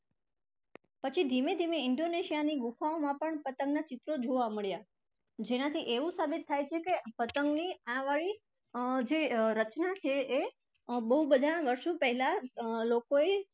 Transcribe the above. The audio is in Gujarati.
પછી ધીમે ધીમે indonesia ની ગુફાઓમાં પણ પતંગના ચિત્રો જોવા મળ્યા જેનાથી એવું સાબિત થાય છે કે પતંગની આ વાળી અર જે રચના છે એ બહુ બધા વર્ષો પહેલા લોકોએ